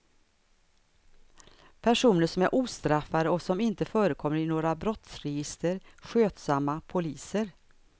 Personer som är ostraffade och som inte förekommer i några brottsregister, skötsamma poliser.